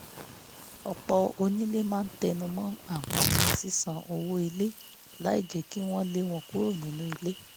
ọ̀pọ̀ onílé máa tenumọ́ ànfàní sísan owó ilé láì jẹ́ kí wọn lé wọn kúro nínú ilé